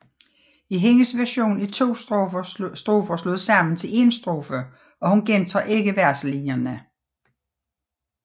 I hendes version er to strofer slået sammen til en strofe og hun gentager ikke verselinjerne